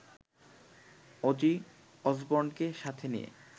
Aussie অসবর্নকে সাথে নিয়ে